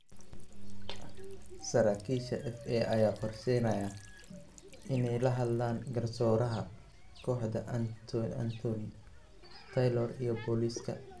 Saraakiisha FA ayaa qorsheynaya inay la hadlaan garsooraha kooxda Anthony Taylor iyo booliska.